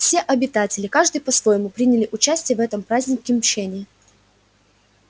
все обитатели каждый по-своему приняли участие в этом празднике мщения